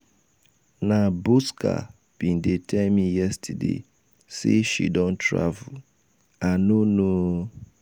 na bosca bin dey tell me yesterday say she don travel. i no know ooo